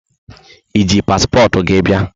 E ji paspọtụ gị bia?